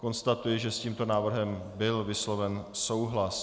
Konstatuji, že s tímto návrhem byl vysloven souhlas.